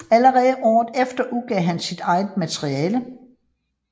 Allerede året efter udgav han sit eget materiale